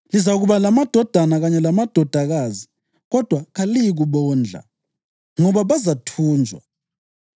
Lizakuba lamadodana kanye lamadodakazi kodwa kaliyikubondla, ngoba bazathunjwa.